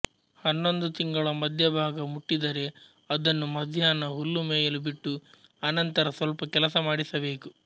ಹನ್ನೊಂದು ತಿಂಗಳ ಮಧ್ಯಭಾಗ ಮುಟ್ಟಿದರೆ ಅದನ್ನು ಮಧ್ಯಾಹ್ನ ಹುಲ್ಲುಮೇಯಲು ಬಿಟ್ಟು ಅನಂತರ ಸ್ವಲ್ಪ ಕೆಲಸಮಾಡಿಸಬೇಕು